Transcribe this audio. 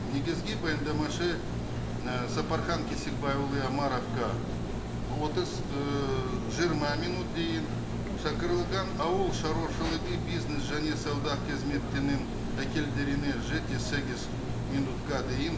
негізгі баяндамашы і сапархан кесікбайұлы омаровқа отыз ыыы жиырма минут дейін шақырылған ауыл шаруашылығы бизнес және сауда қызметінің жеті сегіз минутқа дейін